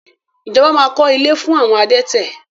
Ijọba máa kọ́ ilé fún àwọn adẹ́tẹ̀.